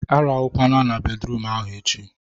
A rahụkwana na bedruum ahụ echi!